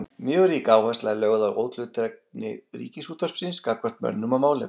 Mjög rík áhersla er lögð á óhlutdrægni Ríkisútvarpsins gagnvart mönnum og málefnum.